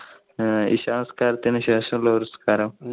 ഈ നിസ്കാരത്തിനു ശേഷം ഉള്ള ഒരു നിസ്കാരം.